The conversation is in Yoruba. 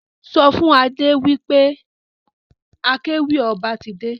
Sọ fún Adé wí pé akéwì ọba ti dé.